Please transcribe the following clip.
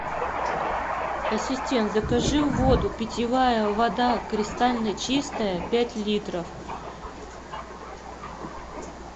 ассистент закажи воду питьевая вода кристально чистая пять литров